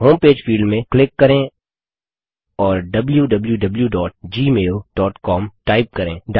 home page field में click करें और wwwgmailcom टाइप करें